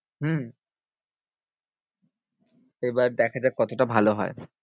হম এবার দেখা যাক কতটা ভালো হয়।